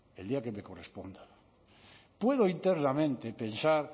el día que me corresponda puedo internamente pensar